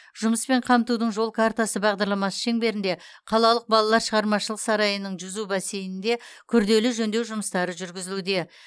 жұмыспен қамтудың жол картасы бағдарламасы шеңберінде қалалық балалар шығармашылық сарайының жүзу бассейнінде күрделі жөндеу жұмыстары жүргізілуде